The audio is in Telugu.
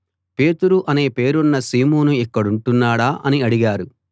పేతురు అనే పేరున్న సీమోను ఇక్కడుంటున్నాడా అని అడిగారు